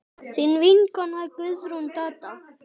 Þín vinkona Guðrún Dadda.